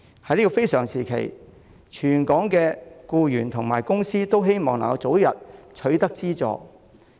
在這個非常時期，全港僱員和公司均希望能夠早日取得資助。